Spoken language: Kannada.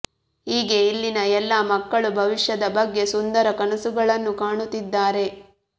ಹೀಗೆ ಇಲ್ಲಿನ ಎಲ್ಲ ಮಕ್ಕಳೂ ಭವಿಷ್ಯದ ಬಗ್ಗೆ ಸುಂದರ ಕನಸುಗಳನ್ನು ಕಾಣುತ್ತಿದ್ದಾರೆ